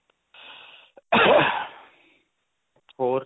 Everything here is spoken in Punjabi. ਹੋਰ.